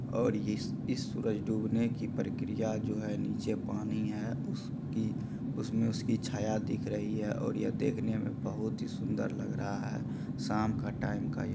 और इस-इस सूरज डुबने की प्रक्रिया जो है निचे पानी है उसकी उसमे उसकी छाया दिख रही है और ये देखने में बहोत ही सुन्दर दिख रहा है शाम का टाइम का ये--